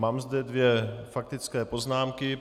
Mám zde dvě faktické poznámky.